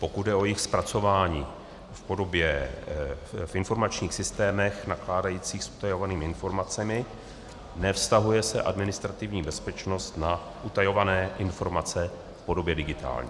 Pokud jde o jejich zpracování v informačních systémech nakládajících s utajovanými informacemi, nevztahuje se administrativní bezpečnost na utajované informace v podobě digitální.